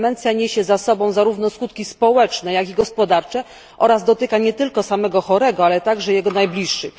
Demencja niesie za sobą zarówno skutki społeczne, jak i gospodarcze oraz dotyka nie tylko samego chorego, ale także jego najbliższych.